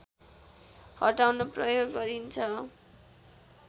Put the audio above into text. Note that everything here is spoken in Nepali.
हटाउन प्रयोग गरिन्छ